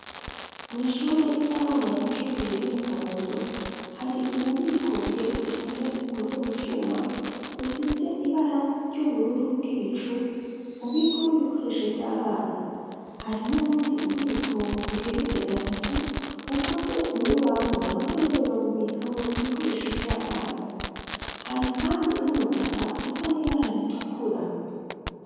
Mw'ishure ry'abana b'incuke riri mu kabondo hari ububiko bugeretse kane bukoze mu cuma usize ibara ry'ubururu bw'ibicu bubikomo ibikoresho by'abana hari n'ubundi bubiko bugeretse gatatu bukoze mu rubaho na bwo nyaneba bubikamo ibikoresho by'abana hari kandi n'umutaka usa n'ibara ritukura.